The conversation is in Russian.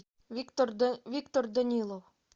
виктор данилов